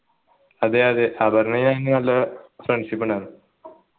അതെയതെ അപർണ്ണയും ഞാനും നല്ല friendship ഉണ്ടായിരുന്നു